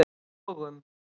Vogum